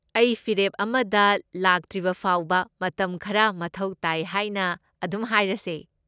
ꯑꯩ ꯐꯤꯔꯦꯞ ꯑꯃꯗ ꯂꯥꯛꯇ꯭ꯔꯤꯕ ꯐꯥꯎꯕ ꯃꯇꯝ ꯈꯔ ꯃꯊꯧ ꯇꯥꯏ ꯍꯥꯏꯅ ꯑꯗꯨꯝ ꯍꯥꯏꯔꯁꯦ꯫